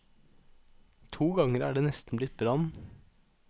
To ganger er det nesten blitt brann.